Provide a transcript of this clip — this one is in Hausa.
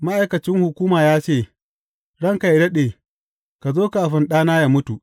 Ma’aikacin hukuman ya ce, Ranka yă daɗe, ka zo kafin ɗana yă mutu.